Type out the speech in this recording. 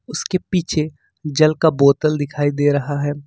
उसके पीछे जल का बोतल दिखाई दे रहा है।